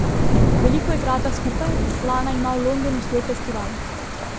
Veliko igrata skupaj, Lana ima v Londonu svoj festival.